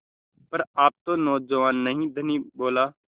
पर आप तो नौजवान नहीं हैं धनी बोला